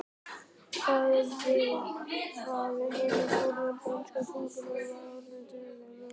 Hvað um það, hin forna danska tunga var orðin Dönum og